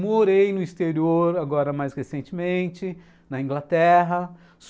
Morei no exterior, agora mais recentemente, na Inglaterra.